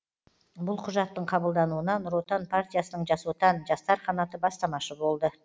бұл құжаттың қабылдануына нұр отан партиясының жас отан жастар қанаты бастамашы болды